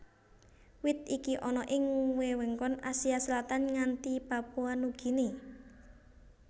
Wit iki ana ing wewengkon Asia Selatan nganti Papua Nugini